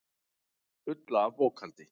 Fulla af bókhaldi.